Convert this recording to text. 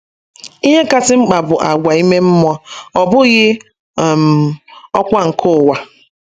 Ihe kasị mkpa bụ àgwà ime mmụọ, ọ bụghị um ọkwá nke ụwa